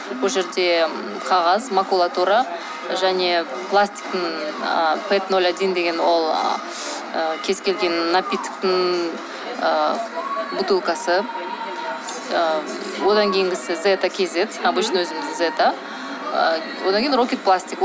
ол жерде қағаз макулатура және пластиктің і пэп ноль один деген ол кез ы келген напитоктың ы бутылкасы ы одан кейінгісі зета кз обычный өзіміздің зета ы одан кейін рокет пластик